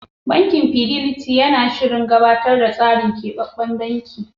Bankin Fidelity yana shirin gabatar da keɓaɓɓen tsarin banki.